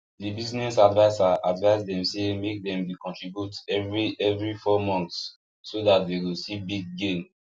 the business adviser advice them say make dem dey contribute every every four months so that dey go see big gain